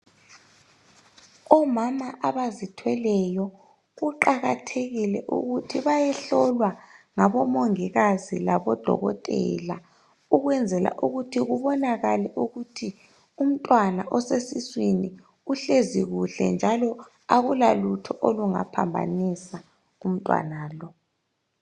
Omama abazithweleyo kuqakathekile ukuthi bayehlolwa ngabomongikazi labodokotela ukwenzela ukuthi kubonakale ukuthi umntwana osesiswini uhlezi kuhle njalo akulalutho olungaphambanisa umntwana lo.